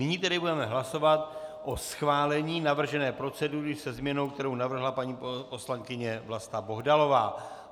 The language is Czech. Nyní tedy budeme hlasovat o schválení navržené procedury se změnou, kterou navrhla paní poslankyně Vlasta Bohdalová.